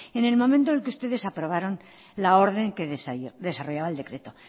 en el momento en que ustedes aprobaron la orden que desarrollaba el decreto